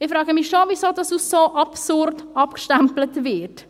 Ich frage mich schon, weshalb dies als so absurd abgestempelt wird.